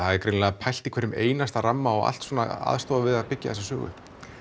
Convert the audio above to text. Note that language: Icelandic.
það er greinilega pælt í hverjum einasta ramma og allt aðstoðar við að byggja þessa sögu upp